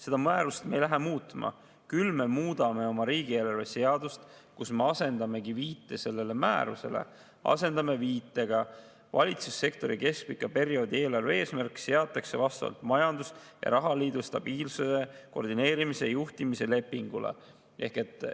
Seda määrust me ei lähe muutma, küll me muudame oma riigieelarve seadust, kus me asendame viite sellele määrusele viitega: valitsussektori keskpika perioodi eelarve eesmärk seatakse vastavalt majandus‑ ja rahaliidu stabiilsuse, koordineerimise ja juhtimise lepingule.